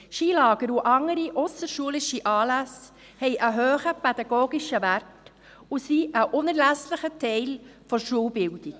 Skilager und andere ausserschulische Anlässe haben einen hohen pädagogischen Wert und sind ein unerlässlicher Teil der Schulbildung.